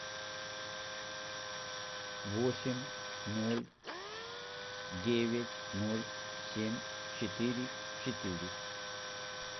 восемь ноль девять ноль семь четыре четыре